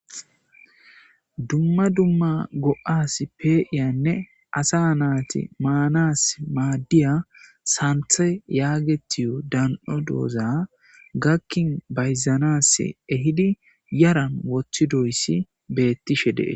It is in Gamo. Dumma dumma go'as pe'iyanne asa nati manasi madiya Santhe yagetiyo bdan'o diza gakin bayzanas ehida yaran wothidoysi betishe de'es